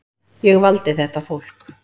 Ég valdi þetta fólk.